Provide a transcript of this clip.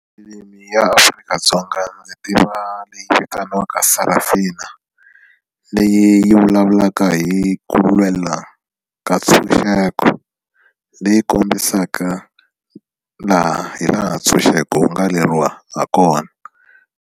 Filimi ya aAfrika-Dzonga ndzi tiva leyi vitaniwaka Sarafina leyi vulavulaka hi ku lwela ka ntshunxeko leyi kombisaka laha hi laha ntshunxeko wu nga lweriwa ha kona.